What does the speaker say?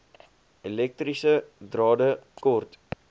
elektriese drade kort